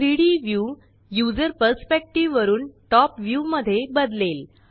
3डी view user perspective वरुन top view मध्ये बदलेल